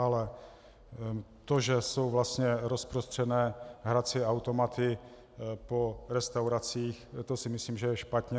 Ale to, že jsou vlastně rozprostřené hrací automaty po restauracích, to si myslím, že je špatně.